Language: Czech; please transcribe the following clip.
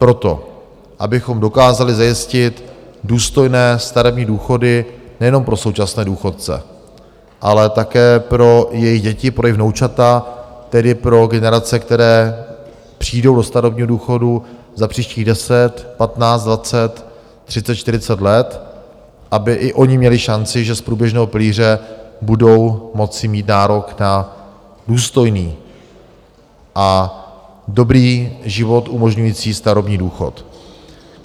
Proto, abychom dokázali zajistit důstojné starobní důchody nejenom pro současné důchodce, ale také pro jejich děti, pro jejich vnoučata, tedy pro generace, které přijdou do starobního důchodu za příštích 10, 15, 20, 30, 40, let, aby i oni měli šanci, že z průběžného pilíře budou moci mít nárok na důstojný a dobrý život umožňující starobní důchod.